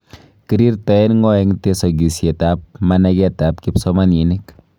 Kirirtoen ng'oo en tesogisiet ab manageet ab kipsomaniniik.